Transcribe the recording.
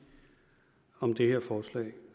om det her forslag